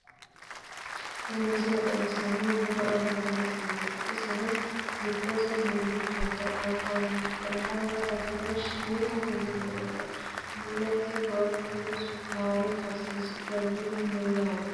tini misile xawissannohu buna anganni siineeti iseno giddose mullichote anganna gatino shiimu bunu noote mulese maankuno sukkaare karsiisi'nannihu no yaate